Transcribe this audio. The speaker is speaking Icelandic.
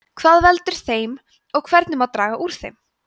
hvað veldur þeim og hvernig má draga úr þeim